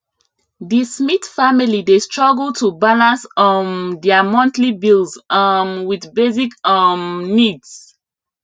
di smith family dey struggle to balance um dia monthly bills um with basic um needs